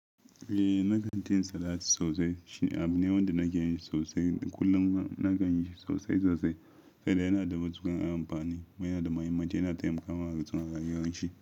Eh, na kan cin salat sosai. Shi ne abu ne wanda na kinyi sosai. Kullum na kanyi sosai sosai, saboda yana da matuƙar amfani kuma yana da muhimmanci. Yana taimakawa hartsinan rayuwar shi.